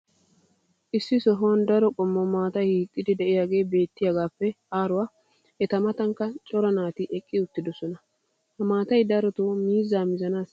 issi sohuwan daro qommo maataa hiixxidi diyaagee beettiyaagaappe aaruwa eta matankka cora naati eqqi uttidosona. ha maatay darotoo miizzaa mizzanaassikka keehi maadees.